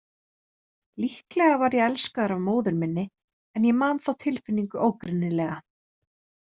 Líklega var ég elskaður af móður minni en ég man þá tilfinningu ógreinilega.